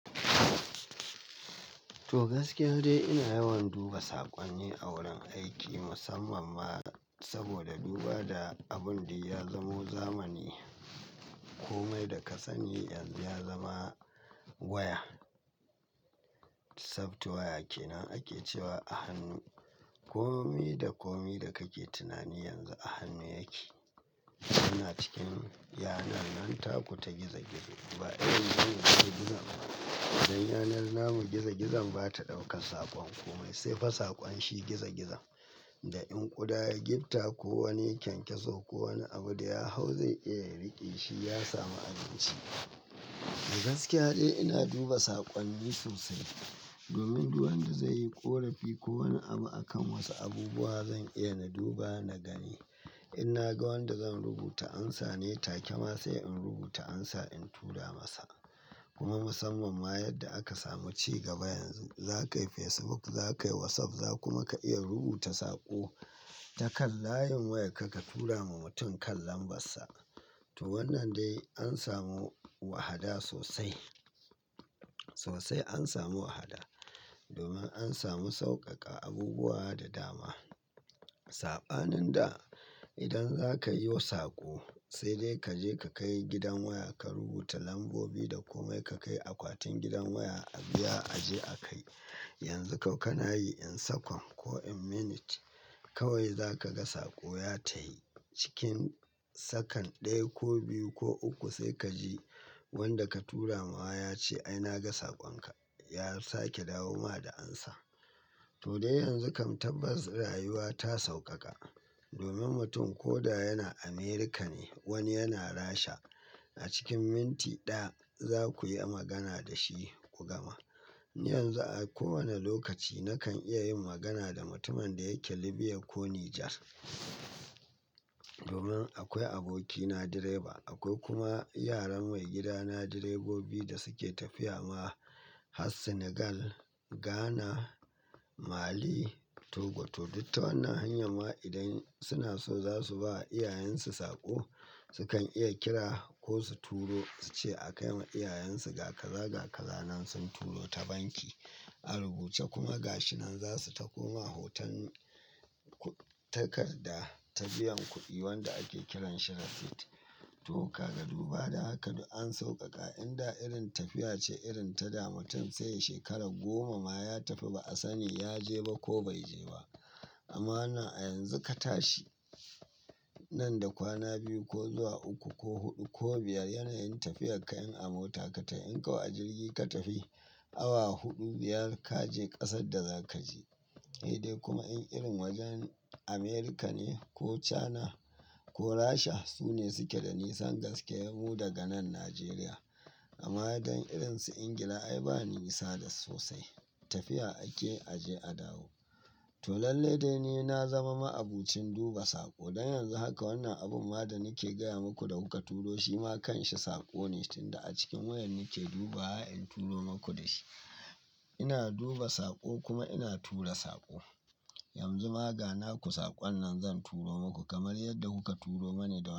To gaskiya dai ina yawan duba saƙonni a wurin aiki musamman ma saboda duba da abun duk ya zamo zamani. Komai da ka sani yanzu ya zama waya. Software waya kenan ake cewa a hannu. Komi da komi da kake tunani yanzu a hannu yake. Yana cikin yanar nan taku ta gizo gizo. Ba irin gizo gizo gizon ba. Dan yanar namu gizo gizon bata ɗaukar saƙon komai sai fa saƙon shi gizo gizon. Da in ƙuda gitta ko wani kyankyaso ko wani abu da ya hau zai iya riƙe shi ya samu abinci. To gaskiya dai ina duba saƙonni sosai. Domin duk wanda zai yi ƙorafi ko wani abu a kan wasu abubuwa zan iya na duba na gani. In na ga wanda zan rubuta ansa ne take ma sai in rubuta ansa in tura masa. Kuma musamman ma yadda aka samu ci gaba yanzu za kai Facebook, za kai WhatsApp, za kuma ka iya rubuta saƙo ta kan layin wayar ka tura ma mutum kan lambar sa. To wannan dai an samu wahada sosai. Sosai an samu wahada domin an samu sauƙaƙa abubuwa da dama. Saɓanin da idan za ka yi yo saƙo sai dai ka je ka kai gidan waya, ka rubuta lambobi da komai ka kai akwatin gidan waya a biya aje a kai. Yanzu kau kana yi in second ko in minute kawai za ka ga saƙo ya ta yi cikin second ɗaya ko biyu ko uku sai ka ji wanda ka turamawa ya ce ai na ga saƙon ka. Ya sake dawo ma da ansa. To dai yanzu kam tabbas rayuwa ta sauƙaƙa. Domin mutum ko da yana Amerika ne wani yana Rasha a cikin minti ɗaya za ku yi magana da shi ku gama. Ni yanzu a kowane lokaci na kan iya yin magana da mutumin da yake Libya ko Nijar. Domin akwai abokina direba, akwai kuma yaran mai gidana direbobi da suke tafiya ma har Senegal, Ghana, Mali, Togo to duk ta wannan hanyan ma idan suna so za su ba iyayensu saƙo su kan iya kira ko su turo su ce a kai ma iyayensu ga kaza ga kaza nan sun turo ta banki. A rubuce kuma gashinan za su tako ma hotan takarda ta biyan kuɗi wanda ake kiran shi receipt. To kaga duba da haka duk an sauƙaƙa inda irin tafiya ce irin ta da mutum sai ya shekara goma ma ya tafi ba a sani ya je ba ko bai je ba. Amma wannan a yanzu ka tashi nan da kwana biyu ko zuwa uku ko huɗu ko biyar yanayin tafiyar ka in a mota ka tai in kau a jirgi ka tafi awa huɗu biyar ka je ƙasar da za ka je. Eh dai kuma in irin wajen America ne ko China ko Rasha su ne suke da nisan gaske yahu daga nan Nigeria. Amma dan irin su Ingila ai bani nisa duk sosai. Tafiya ake aje a dawo. To lalle dai ni na zama ma'abocin duba saƙo. Don yanzu haka wannan abun ma da nake gaya muku da kuka turo shi ma kanshi saƙo ne tunda a cikin wayar nake dubawa in turo muku da shi. Ina duba saƙo kuma ina tura saƙo. Yanzu ma ganaku saƙon nan zan turo muku kamar yadda kuka turo mani da.